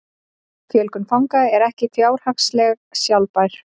Fjölgun fanga er ekki fjárhagslega sjálfbær